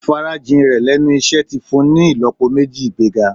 Ìfarajìn rẹ̀ lẹ́nu iṣẹ́ ti fun ni ìlọ́po méjì ìgbéga.